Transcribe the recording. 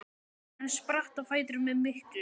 Hann spratt á fætur með miklu